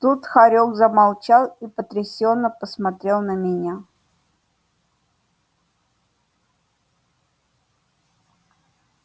тут хорёк замолчал и потрясённо посмотрел на меня